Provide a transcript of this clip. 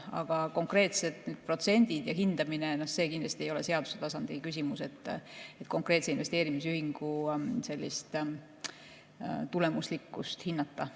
Aga konkreetsed protsendid ja hindamine ei ole kindlasti seaduse tasandi küsimus, et konkreetse investeerimisühingu tulemuslikkust hinnata.